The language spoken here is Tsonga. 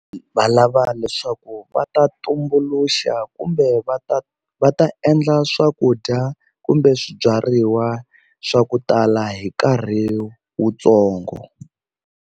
Va lava leswaku va ta tumbuluxa kumbe va ta va ta endla swakudya kumbe swibyariwa swa ku tala hi nkarhi wutsongo.